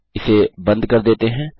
इसे बंद कर देते हैं